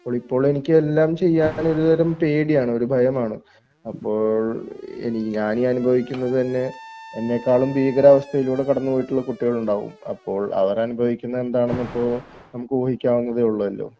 അപ്പോളെനിക്ക് എല്ലാം ചെയ്യാൻ ഒരുതരം പേടിയാണ് ഒരു ഭയമാണ്. അപ്പോൾ എനി ഞാനീ അനുഭവിക്കുന്നത് തന്നെ എന്നെക്കാളും ഭീകര അവസ്ഥയിലൂടെ കടന്നു പോയിട്ടുള്ള കുട്ടികൾ ഉണ്ടാവും അപ്പോൾ അവരനുഭവിക്കുന്ന എന്താണെന്ന് ഇപ്പോൾ നമുക്ക് ഊഹിക്കാവുന്നതെ ഉള്ളല്ലോ